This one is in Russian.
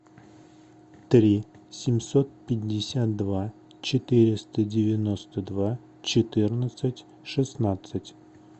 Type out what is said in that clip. три семьсот пятьдесят два четыреста девяносто два четырнадцать шестнадцать